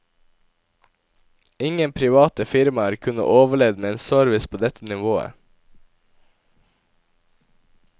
Ingen private firmaer kunne overlevd med en service på dette nivået.